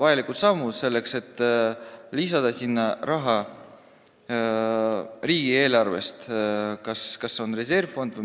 vajalikud sammud selleks, et sinna riigieelarvest raha lisada.